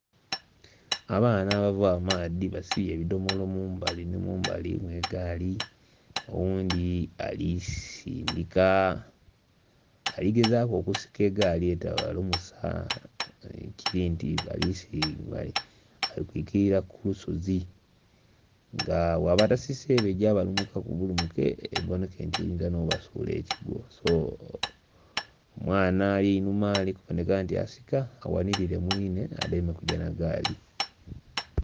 Abaana abava amaadhi basibye ebidhomolo mumbali nhi mumbali mw'egaali. Oghundhi ali sindika, ali gezaaku okusika egaali etabalumusa, ekiri nti bali kwikilira ku lusozi. Nga bwaba tasise eba egya balumukaku bulumuke ebonheke nti esobola nh'obasuula ekigwo. So, omwaana ali einhuma ali kuboneka nti asika aghanhilire mwinhe adheeme kugya nha gaali.